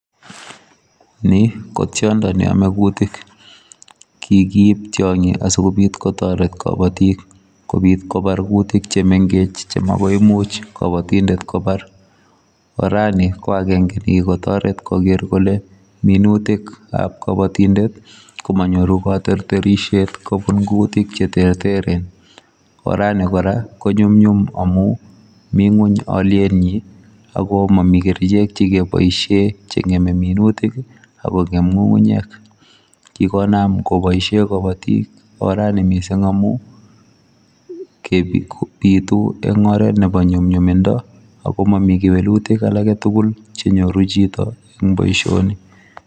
Ni ko tiondo ne ame kuutik, kikiib tionyi asikobit kotoret kabatik kobit kobar kuutik che mengech che makoimuch kabatindet kobar, orani ko akenge ne kikotoret koker kole minutikab kabatindet komanyoru katerterisiet kobun kuutik che terteren, orani kora konyumyum amu mi nguny alyenyi, ako mami kerichek che keboisie che ngeme minutik ii ak kongem ngungunyek, kikonam koboisie kabatik orani mising amu, bitu eng oret nebo nyumnyumindo ako mami kewelutik alake tugul che nyoru chito eng boisioni.